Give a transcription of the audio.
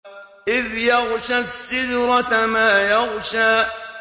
إِذْ يَغْشَى السِّدْرَةَ مَا يَغْشَىٰ